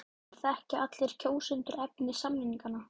En þekkja allir kjósendur efni samninganna?